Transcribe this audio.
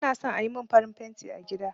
Ba na son ayi mun farin fenti a gida